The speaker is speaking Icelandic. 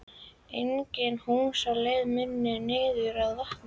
Engin hús á leið minni niður að vatninu.